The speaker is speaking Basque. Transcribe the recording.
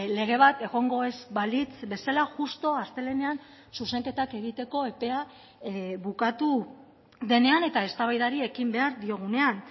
lege bat egongo ez balitz bezala justu astelehenean zuzenketak egiteko epea bukatu denean eta eztabaidari ekin behar diogunean